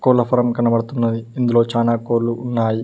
కోళ్ల ఫారం కనబడుతున్నాది ఇందులో చానా కోళ్లు ఉన్నాయి.